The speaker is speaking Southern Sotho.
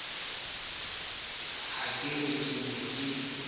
ha ke re ke a